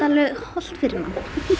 hollt fyrir mann